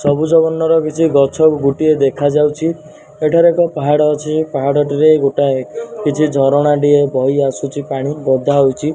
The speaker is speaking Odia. ସବୁଜ ବର୍ଣର କିଛି ଗଛ ଗୁଟିଏ ଦେଖାଯାଉଛି ଏଠାରେ ଏକ ପାହାଡ ଅଛି ପାହାଡ଼ଟିରେ ଗୋଟାଏ କିଛି ଝରଣା ଟିଏ ବହିଆସୁଚି ପାଣି ଗଦା ହୋଉଚି ।